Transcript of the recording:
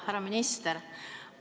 Härra minister!